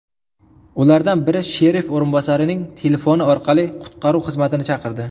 Ulardan biri sherif o‘rinbosarining telefoni orqali qutqaruv xizmatini chaqirdi.